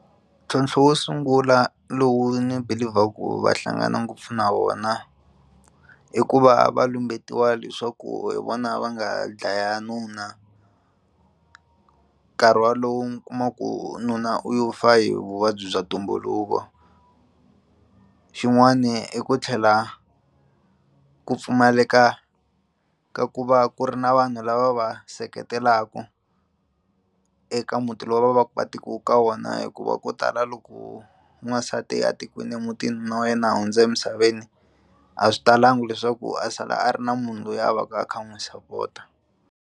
Ntlhontlho wo sungula lowu nibeliever-ku] va hlangana ngopfu na wona i ku va va lumbetiwa leswaku hi vona va nga dlaya nuna nkarhi wa lowu kumaku nuna u yo fa hi vuvabyi bya ntumbuluko xin'wana i ku tlhela ku pfumaleka ka ku va ku ri na vanhu lava va va seketelaku eka muti lowu va va va tekiwe eka wona hikuva ko tala loko n'wansati a tikiwini emutini nuna wa yena a hundze emisaveni a swi talangi leswaku a sala a ri na munhu loyi a va ka a kha n'wi support-a.